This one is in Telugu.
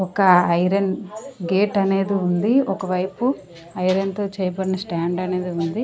ఒక ఐరన్ గేట్ అనేది ఉంది ఒకవైపు ఐరన్ తో చేయబడిన స్టాండ్ అనేది ఉంది.